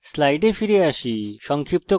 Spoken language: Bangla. slides ফিরে যাই